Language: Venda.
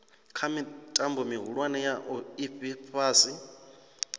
kha mitambo mihulwane ya ifhasi